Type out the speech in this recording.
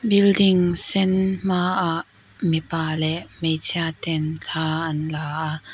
building sen hmaah mipa leh hmeichhia ten thla an la a.